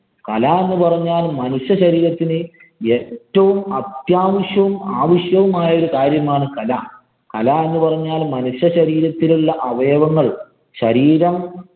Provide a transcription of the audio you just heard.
കല എന്നുപറഞ്ഞാല്‍ മനുഷ്യ ശരീരത്തിനെ ഏറ്റവും അത്യാവശ്യവും, ആവശ്യവുമായ കാര്യമാണ് കല. കല എന്ന് പറഞ്ഞാല്‍ മനുഷ്യശരീരത്തിലുള്ള അവയവങ്ങള്‍ ശരീരം